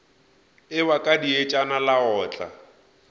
ewa ka dietšana la otla